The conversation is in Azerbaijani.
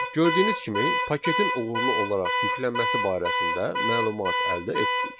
Gördüyünüz kimi paketin uğurlu olaraq yüklənməsi barəsində məlumat əldə etdik.